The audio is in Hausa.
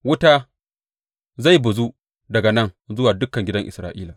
Wuta zai bazu daga nan zuwa dukan gidan Isra’ila.